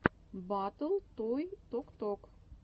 батл той ток ток